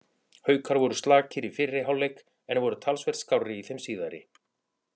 Haukar voru slakir í fyrri hálfleik en voru talsvert skárri í þeim síðari.